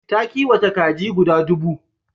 Ta kiwata kaji guda dubu.